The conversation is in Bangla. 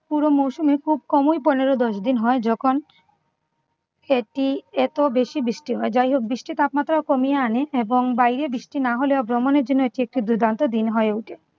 পুরো মৌসুমে খুব কমই পনেরো দশ দিন হয় যখন এটি এত বেশি বৃষ্টি হয়। যাই হোক বৃষ্টি তাপমাত্রা কমিয়ে আনে এবং বাইরে বৃষ্টি না হলেও ভ্রমণের জন্য এটি একটি দুর্দান্ত দিন হয়ে ওঠে।